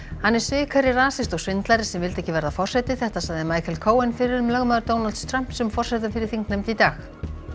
hann er svikari rasisti og svindlari sem vildi ekki verða forseti þetta sagði Michael Cohen fyrrum lögmaður Donalds Trumps um forsetann fyrir þingnefnd í dag